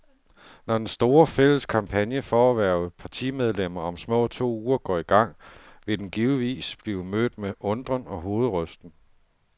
Når den store, fælles kampagne for at hverve partimedlemmer om små to uger går i gang, vil den givetvis blive mødt med undren og hovedrysten.